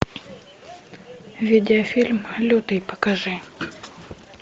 видеофильм лютый покажи